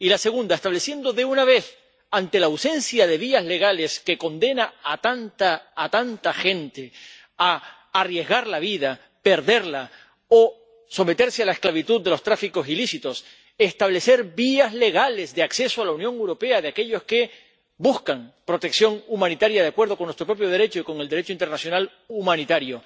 Y el segundo, estableciendo de una vez —ante la ausencia de vías legales, que condena a tanta gente a arriesgar la vida, perderla o someterse a la esclavitud de los tráficos ilícitos— vías legales de acceso a la Unión Europea de aquellos que buscan protección humanitaria de acuerdo con nuestro propio Derecho y con el Derecho internacional humanitario